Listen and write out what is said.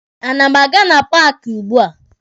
A na m aga na paaki ugbua?